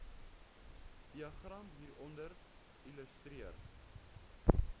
diagram hieronder illustreer